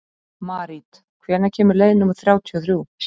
Marít, hvenær kemur leið númer þrjátíu og þrjú?